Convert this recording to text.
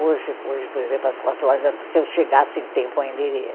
Hoje, hoje por exemplo, às quatro horas, se eu chegasse em tempo, ainda iria.